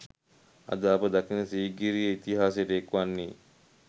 අද අප දකින සීගිරිය ඉතිහාසයට එක්වන්නේ